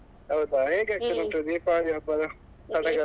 ಹೌದಾ ಹೇಗಾಯ್ತು ದೀಪಾವಳಿ ಹಬ್ಬ ಸಡಗರ?